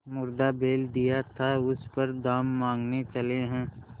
मुर्दा बैल दिया था उस पर दाम माँगने चले हैं